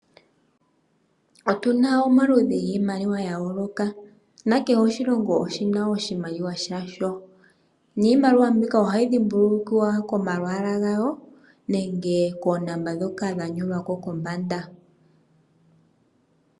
Otuna omaludhi giimaliwa gayoloka nakehe oshilongo oshina oshimaliwa shasho niimaliwa mbika ohayi dhimbulukwa komalwaala gawo nenge koonomola ndhoka dha nyolwako kombanda.